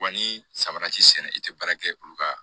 Wa ni samara t'i sɛnɛn i tɛ baara kɛ olu ka